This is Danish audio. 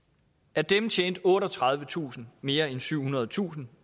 af dem tjente otteogtredivetusind mere end syvhundredetusind